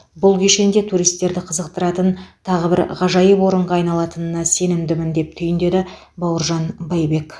бұл кешен де туристерді қызықтыратын тағы бір ғажайып орынға айналатынына сенімдімін деп түйіндеді бауыржан байбек